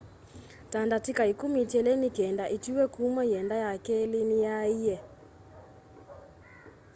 ta ndatĩka ĩkũmi itiele nĩkenda ĩtuwe kũma yĩenda ya kelĩ nĩ yaaie